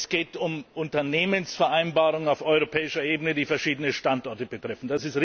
Es geht um Unternehmensvereinbarungen auf europäischer Ebene, die verschiedene Standorte betreffen.